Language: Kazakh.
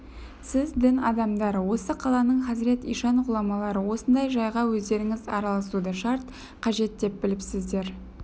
сіз дін адамдары осы қаланың хазірет ишан ғұламалары осындай жайға өздеріңіз араласуды шарт қажет деп біліпсіздер